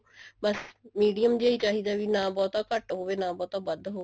ਬੱਸ medium ਜਾਂ ਹੀ ਚਾਹੀਦਾ ਵੀ ਨਾ ਬਹੁਤਾ ਘੱਟ ਹੋਵੇ ਵੀ ਨਾ ਬਹੁਤਾ ਵੱਧ ਹੋਵੇ